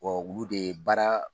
Ɔ olu de ye baara